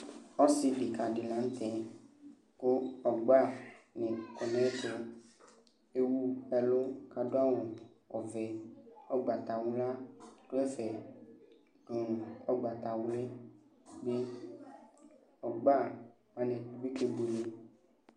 Ɔsɩ kɩka dɩ la nʋ tɛ kʋ ɔgbanɩ kɔ nʋ ayɛtʋ Ewu ɛlʋ kʋ adʋ awʋ ɔvɛ, ʋgbatawla dʋ ɛfɛ dʋ nʋ ʋgbatawlɩ bɩ Ɔgba wanɩ bɩ kebuele